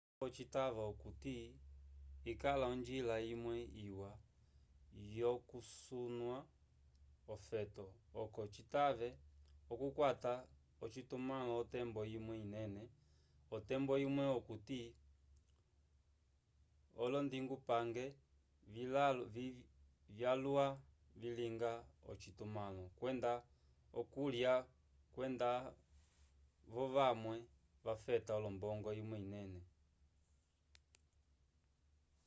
lacovo citava okuti ikala onjila imwwe iwa yokucunya ofeto oco citave okukwata ocitumãlo otembo imwe inene otembo imwe okuti olondingupange vyalwa vilinga ocitumãlo kwenda okulya kwenda-vo vamwe vafeta olombongo imwe inene